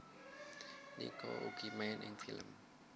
Nino uga main ing film